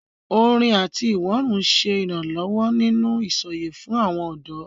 Orin àti ìwọ́rùn ń ṣe ìrànlọ́wọ́ nínú ìsọ̀yè fún àwọn ọ̀dọ́.